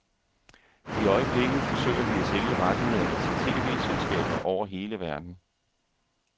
I øjeblikket forsøger de at sælge rettighederne til tv-selskaber over hele verden.